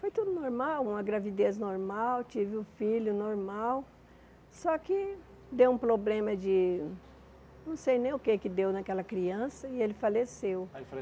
Foi tudo normal, uma gravidez normal, tive o filho normal, só que deu um problema de não sei nem o que é que deu naquela criança e ele faleceu. Ah ele